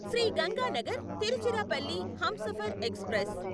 Shri Ganganagar Tiruchirappalli Humsafar express